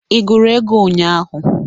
Ị gụrụ ego ụnyaahụ?